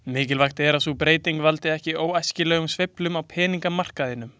Mikilvægt er að sú breyting valdi ekki óæskilegum sveiflum á peningamarkaðinum.